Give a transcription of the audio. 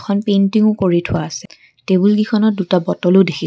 এখন পাইণ্টিঙো কৰি থোৱা আছে টেবুলকেইখনত দুটা বটলো দেখিছোঁ।